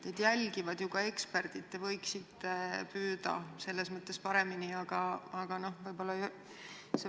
Teid jälgivad ju ka eksperdid, selles mõttes võiksite rohkem püüda.